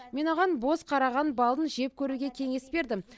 мен оған боз қараған балын жеп көруге кеңес бердім